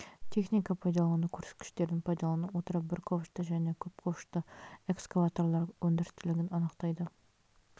техника пайдалану көрсеткіштерін пайдалана отыра бір ковшты және көп ковшты экскаваторлар өндірістілігін анықтайды